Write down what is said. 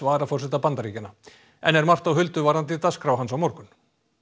varaforseta Bandaríkjanna enn er margt á huldu varðandi dagskrá hans á morgun